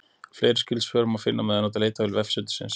Fleiri skyld svör má finna með því að nota leitarvél vefsetursins.